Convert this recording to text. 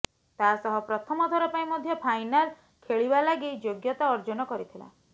ତା ସହ ପ୍ରଥମ ଥର ପାଇଁ ମଧ୍ୟ ଫାଇନାଲ୍ ଖେଳିବା ଲାଗି ଯୋଗ୍ୟତା ଅର୍ଜନ କରିଥିଲା